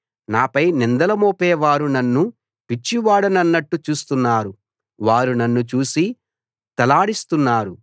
నాపై నిందలు మోపే వారు నన్ను పిచ్చివాడన్నట్టు చూస్తున్నారు వారు నన్ను చూసి తలాడిస్తున్నారు